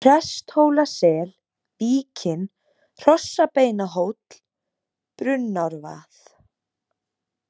Presthólasel, Víkin, Hrossabeinahóll, Brunnárvað